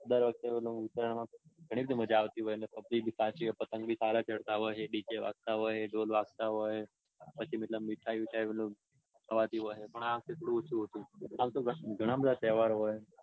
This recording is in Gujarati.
દર વખતે પેલું ઉત્તરાયણમાં ઘણી બધી મજા આવતી હોય ને પછી પતંગ બી સારા ચગતા હોય dj બી વાગતા હોય ઢોલ બી વાગતા હોય પછી એટલે મીઠાઈ ભીઠાઇ ખવાતી હોય. પણ આ વખતે થોડું ઓછું હતું. આમ તો ઘણા બધા તહેવાર હોય.